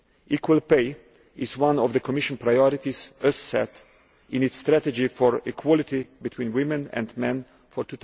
Equal pay is one of the Commission priorities set out in its strategy for equality between women and men for